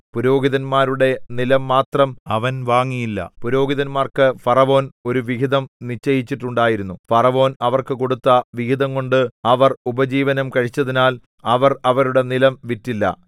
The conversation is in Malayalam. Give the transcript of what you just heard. പുരോഹിതന്മാരുടെ നിലം മാത്രം അവൻ വാങ്ങിയില്ല പുരോഹിതന്മാർക്കു ഫറവോൻ ഒരു വിഹിതം നിശ്ചയിച്ചിട്ടുണ്ടായിരുന്നു ഫറവോൻ അവർക്ക് കൊടുത്ത വിഹിതംകൊണ്ട് അവർ ഉപജീവനം കഴിച്ചതിനാൽ അവർ അവരുടെ നിലം വിറ്റില്ല